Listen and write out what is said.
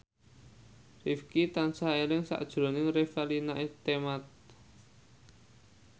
Rifqi tansah eling sakjroning Revalina Temat